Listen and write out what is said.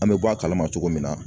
An bɛ bɔ a kalama cogo min na